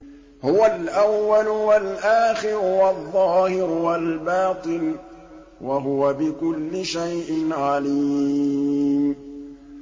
هُوَ الْأَوَّلُ وَالْآخِرُ وَالظَّاهِرُ وَالْبَاطِنُ ۖ وَهُوَ بِكُلِّ شَيْءٍ عَلِيمٌ